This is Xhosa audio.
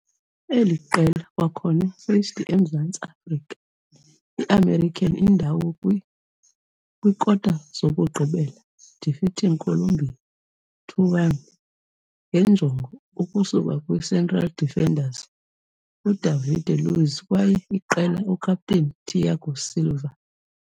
eli qela kwakhona faced emzantsi Afrika i-american indawo kwi - kwikota-zokugqibela, defeating Colombia 2-1 nge njongo ukusuka kwi-central defenders Udavide Luiz kwaye iqela ukapteni Thiago Silva.